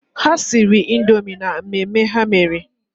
Ha siri Indoomi maka mmemme ha mere.